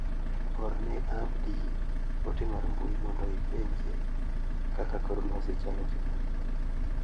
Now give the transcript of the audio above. Orne Abdi ote mar mbui mondo ipenje kaka kor lwasi chalo juma ni.